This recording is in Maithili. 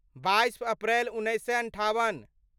बाइस अप्रैल उन्नैस सए अन्ठाबन